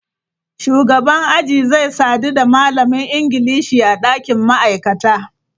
Shugaban aji zai sadu da malamin Ingilishi a ɗakin ma'aikata.